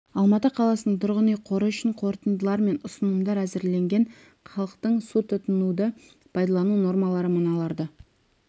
алматы қаласының тұрғын үй қоры үшін қорытындылар мен ұсынымдар әзірленген халықтың су тұтынуды пайдалану нормалары мыналарды